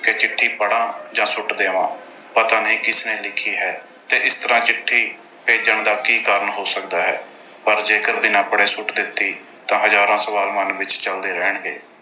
ਕਿ ਚਿੱਠੀ ਪੜ੍ਹਾਂ ਜਾਂ ਸੁੱਟ ਦੇਵਾਂ। ਪਤਾ ਨਹੀਂ ਕਿਸ ਨੇ ਲਿਖੀ ਹੈ ਤੇ ਇਸ ਤਰ੍ਹਾਂ ਚਿੱਠੀ ਭੇਜਣ ਦਾ ਕੀ ਕਾਰਨ ਹੋ ਸਕਦਾ ਹੈ। ਪਰ ਜੇਕਰ ਬਿਨਾਂ ਪੜ੍ਹੇ ਸੁੱਟ ਦਿੱਤੀ ਤਾਂ ਹਜ਼ਾਰਾਂ ਸਵਾਲ ਮਨ ਵਿੱਚ ਚਲਦੇ ਰਹਿਣਗੇ।